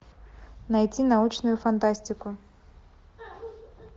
найти научную фантастику